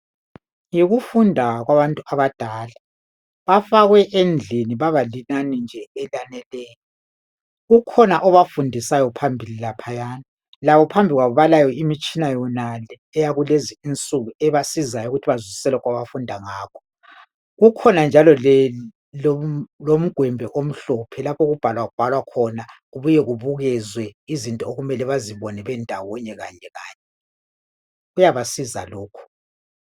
Yikufunda kwabantu abadala bafakwe endlini babalinani nje elaneleyo ukhona obafundisayo phambili laphaya labo phambili kwabo balayo imitshina yonale eyakulezi insuku ebasizayo ukuthi bazwisise lokhu abafunda ngakho kukhona njalo lomgwembe omhlophe lapho okubhalabhalwa khona kubuye kubukezwe izinto okumele bazibone bendawonye kanye kanye kuyabasiza lokhu.